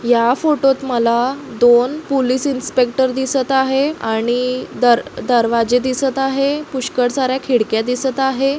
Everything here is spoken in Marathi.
या फोटोत मला दोन पोलिस इन्स्पेक्टर दिसत आहे आणि दर दरवाजे दिसत आहे. पुष्कळ सार्‍या खिडक्या दिसत आहे.